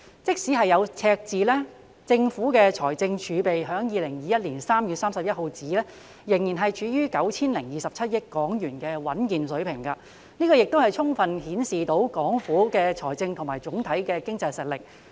即使有赤字，政府的財政儲備至2021年3月31日仍處於 9,027 億港元的穩健水平。這亦充分顯示出港府的財政和總體經濟實力。